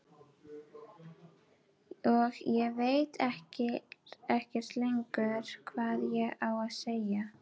Og ég veit ekkert lengur hvað ég á að segja.